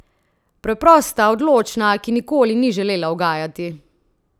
Preprosta, odločna, ki nikoli ni želela ugajati!